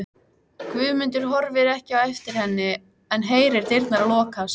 Guðmundur horfir ekki á eftir henni en heyrir dyrnar lokast.